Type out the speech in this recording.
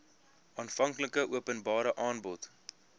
aanvanklike openbare aanbod